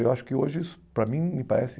Eu acho que hoje, isso para mim, me parece...